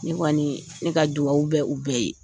Ne kɔni ne ka dugawu bɛ u bɛɛ ye.